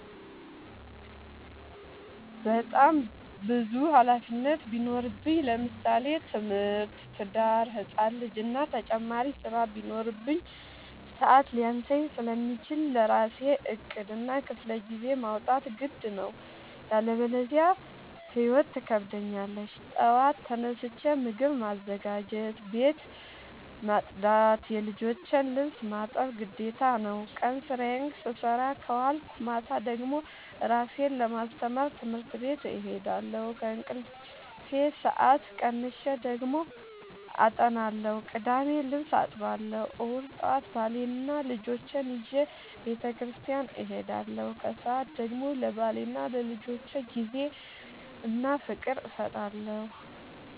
በጣም ብዙ ሀላፊነት ቢኖርብኝ ለምሳሌ፦ ትምህርት፣ ትዳር፣ ህፃን ልጂ እና ተጨማሪ ስራ ቢኖርብኝ። ሰዐት ሊያንሰኝ ስለሚችል ለራሴ ዕቅድ እና ክፍለጊዜ ማውጣት ግድ ነው። ያለበዚያ ህይወት ትከብደኛለች ጠዋት ተነስቼ ምግብ ማዘጋጀት፣ ቤት መፅዳት የልጆቼን ልብስ ማጠብ ግዴታ ነው። ቀን ስራዬን ስሰራ ከዋልኩኝ ማታ ደግሞ እራሴን ለማስተማር ትምህርት ቤት እሄዳለሁ። ከእንቅልፌ ሰአት ቀንሼ ደግሞ አጠናለሁ ቅዳሜ ልብስ አጥባለሁ እሁድ ጠዋት ባሌንና ልጆቼን ይዤ በተስኪያን እሄዳለሁ። ከሰዓት ደግሞ ለባሌና ለልጆቼ ጊዜ እና ፍቅር እሰጣለሁ።